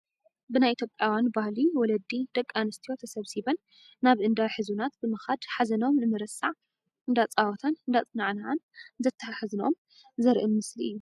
ብናይ ኢትዮጵያውያን ባህሊ ወለዲ ደቂ ኣንስትዮ ተሰብሲበን ናብ እንዳ ሕዙናት ብምካድ ሓዘኖም ንምርሳዕ እንዳኣፀወታን እንዳአፀናንዓን እንተተሓዝኦም ዘርኢ ምስሊ እዩ ።